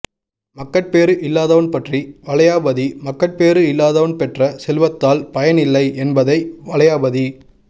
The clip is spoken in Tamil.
மக்கட்பேறு இல்லாதவன் பற்றி வளையாபதி மக்கட்பேறு இல்லாதவன் பெற்ற செல்வத்தால் பயன் இல்லை என்பதை வளையாபதி